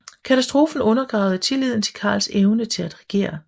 Katastrofen undergravede tilliden til Karls evne til at regere